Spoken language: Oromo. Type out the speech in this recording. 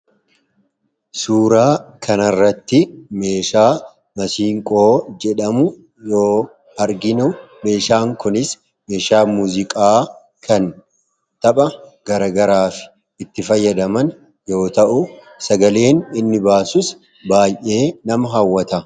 Suuraa kanarratti meeshaa Masiinqoo jedhamu yoo arginu, meeshaan kunis meeshaa muuziqaa kan tapha garagaraaf itti fayyadaman yoo ta'u, sagaleen inni baasus baay'ee nama hawwata.